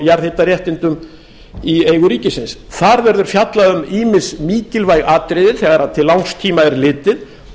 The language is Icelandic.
jarðhitaréttindum í eigu ríkisins þar verður fjallað um ýmis mikilvæg atriði þegar til langs tíma er litið